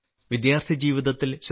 വിദ്യാർത്ഥി ജീവിതത്തിൽ ശ്രീ